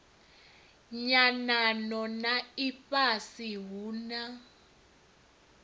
nyanano na ifhasi hu na